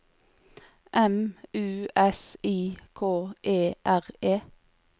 M U S I K E R E